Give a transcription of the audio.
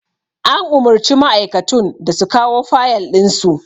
An umurci ma'aikatun da su kawo fayal ɗin su